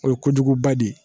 O ye kojuguba de ye